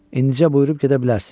İndicə buyurub gedə bilərsiz.